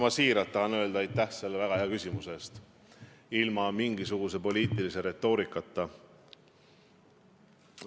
Ma siiralt tahan öelda aitäh selle väga hea küsimuse eest – ilma mingisuguse poliitilise retoorikata.